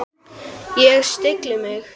Ég stilli mig.